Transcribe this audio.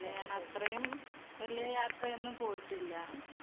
അല്ല ഞാൻ അത്രയും വലിയ യാത്രയയൊന്നും പോയിട്ടില്ല